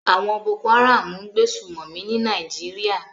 Àwon Boko Haram n gbé sùmòmí ní Naijiria